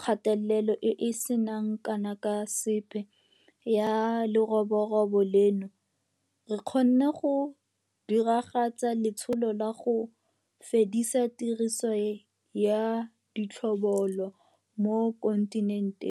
kgatelelo e e seng kana ka sepe ya leroborobo leno, re kgonne go diragatsa letsholo la 'go fedisa tiriso ya ditlhobolo' mo kontinenteng.